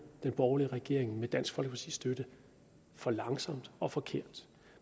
den borgerlige regering med dansk folkepartis støtte for langsomt og forkert